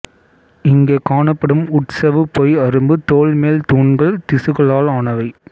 இங்கே காணப்படும் உட்சவ்வு பொய் அரும்பு தோல்மேல் தூண்கள் திசுக்களால் ஆனவை